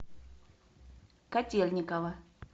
котельникова